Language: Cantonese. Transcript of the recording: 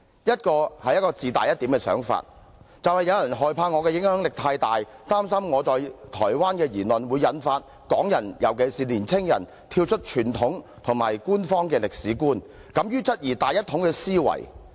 一個是自大一點的想法，就是有人害怕我的影響力太大，擔心我在台灣的言論會引發港人，尤其是年青人，跳出傳統及官方的歷史觀，敢於質疑大一統的思維。